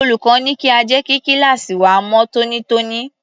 Olùkọ́ ní kí a jẹ́ kí kíláàsì wa mọ́ tónítóní.